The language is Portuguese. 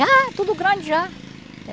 Já, tudo grande já.